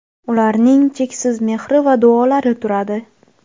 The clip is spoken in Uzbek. ularning cheksiz mehri va duolari turadi.